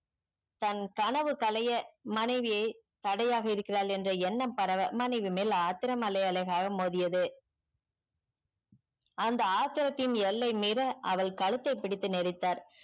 தன் கணவு களைய மனைவியே தடையாக இருக்கிறாள் என்ற எண்ணம் பரவ மனைவி மேல் ஆத்திரம் அலை அலையாக மோதியது அந்த ஆத்திரத்தின் எல்லை மிர அவள் கழுத்தை பிடித்து நேரித்தார்